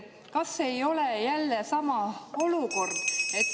Kas ei ole jälle sama olukord?